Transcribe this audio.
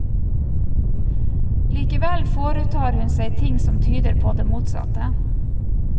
Likevel foretar hun seg ting som tyder på det motsatte.